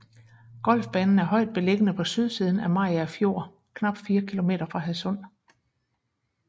Golfbanen er højt beliggende på sydsiden af Mariager Fjord knap 4 km fra Hadsund